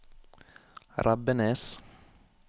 Rebbenes